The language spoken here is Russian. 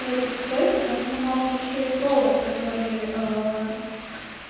говорит со стойка там сломался ещё и провод который